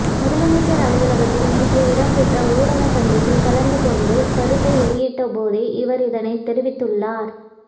முதலமைச்சர் அலுவலகத்தில் நேற்று இடம்பெற்ற ஊடக சந்திப்பில் கலந்துகொண்டு கருத்து வெளியிட்டபோதே அவர் இதனைத் தெரிவித்துள்ளார்